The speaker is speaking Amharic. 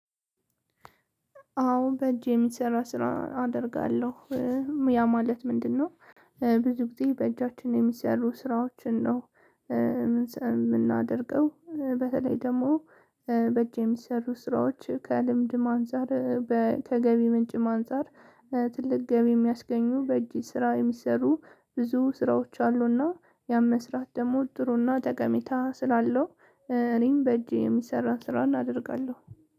አዎ በእጅ የሚሰራ ስራ አደርጋለሁ። ያ ማለት ምንድነው? ብዙ ጊዜ በእጃችን የሚሰሩ ስራዎችን ነው የምናደርገው። በተለይ ደግሞ በእጅ የሚሰሩ ስራዎች ከልምድም አንፃር ከገቢ ምንጭም አንፃር ትልቅ ገቢ የምያስገኙ በእጅ ስራ የሚሰሩ ብዙ ስራዎች አሉ። እና ያን መስራት ደግሞ ጥሩ እና ጠቀሜታ ስላለው እኔም በእጅ የሚሰራን ስራ አደርጋለሁ።